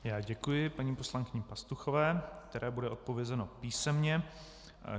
Já děkuji paní poslankyni Pastuchové, které bude odpovězeno písemně.